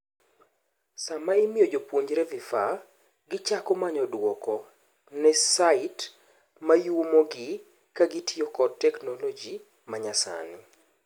Sama imiyo jopuonjre vifaa, gichako manyo duoko ne site mayuomo gi ka gitiyo kod teknoloji manyasani'.